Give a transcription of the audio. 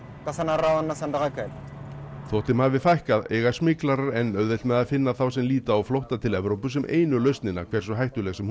þótt þeim hafi fækkað eiga smyglarar enn auðvelt með að finna þá sem líta á flótta til Evrópu sem einu lausnina hversu hættuleg sem hún